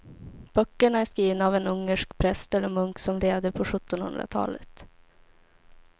Böckerna är skrivna av en ungersk präst eller munk som levde på sjuttonhundratalet.